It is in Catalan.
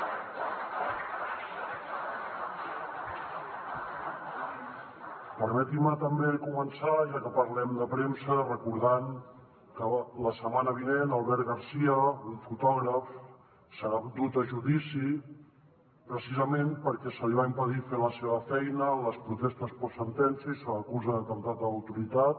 permetin me també començar ja que parlem de premsa recordant que la setmana vinent albert garcia un fotògraf serà dut a judici precisament perquè se li va impedir fer la seva feina en les protestes postsentència i se l’acusa d’atemptat a l’autoritat